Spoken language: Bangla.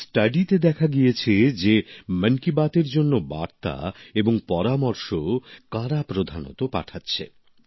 এই সমীক্ষাতে দেখা গিয়েছে যে মন কি বাত এর জন্য বার্তা এবং পরামর্শ কারা প্রধানত পাঠাচ্ছে